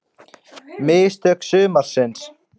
Mistök sumarsins?